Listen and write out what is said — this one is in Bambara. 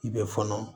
I bɛ fɔnɔ